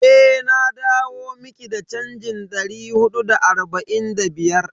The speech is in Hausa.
Eh, na dawo miki da chanjin dari hudu da arba'in da biyar.